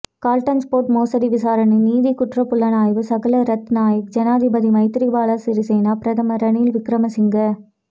Galton sport மோசடி விசாரணை நிதி குற்றப்புலனாய்வு சாகல ரத்நாயக்க ஜனாதிபதி மைத்திரிபால சிறிசேன பிரதமர் ரணில் விக்கிரமசிங்க